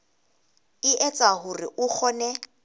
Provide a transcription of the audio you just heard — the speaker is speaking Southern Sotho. e etsa hore o kgone